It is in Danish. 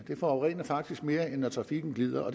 forurener faktisk mere end når trafikken glider og